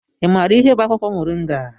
Ị maara ihe bụ akwụkwọ Moringa?